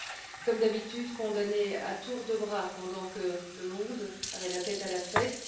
Ils ont, comme d'habitude, condamné à tour de bras pendant que le monde avait la tête à la fête.